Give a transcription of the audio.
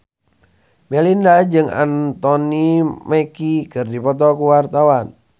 Melinda jeung Anthony Mackie keur dipoto ku wartawan